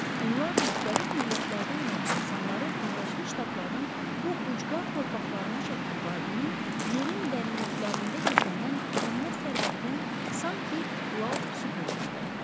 Onlar müxtəlif millətlərdən olan insanları Birləşmiş Ştatların bu ucqar torpaqlarına çəkən vadinin, yerin dərinliklərində gizlənən tükənməz sərvətinin sanki lal sübutu idi.